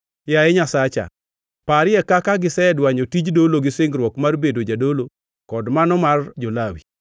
Yaye Nyasacha, parie kaka gisedwanyo tij dolo gi singruok mar bedo jadolo kod mano mar jo-Lawi.